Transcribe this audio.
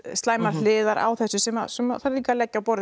slæmar hliðar á þessu sem sem þarf að leggja á borð